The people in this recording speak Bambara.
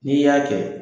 N'i y'a kɛ